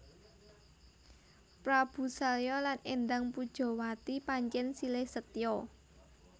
Prabu Salya lan Endang Pujawati pancèn silih setya